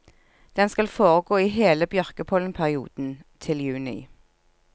Den skal foregå i hele bjørkepollenperioden, til juni.